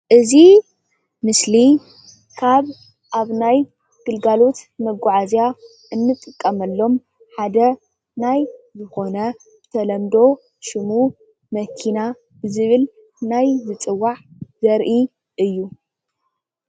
እዚ ምስሊ ካብ ኣብ ናይ ግልጋሎት መጉዓዝያ እንጥቀመሎም ሓደ ናይ ዝኾነ ተለምዶ ሽሙ መኪና ዝብል ናይ ምፅዋዕ ዘርኢ እዩ።